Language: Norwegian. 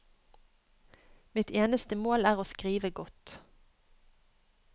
Mitt eneste mål er å skrive godt.